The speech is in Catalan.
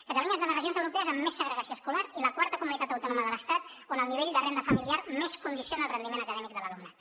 catalunya és de les regions europees amb més segregació escolar i la quarta comunitat autònoma de l’estat on el nivell de renda familiar més condiciona el rendiment acadèmic de l’alumnat